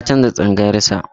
Ya canza tsangayar sa.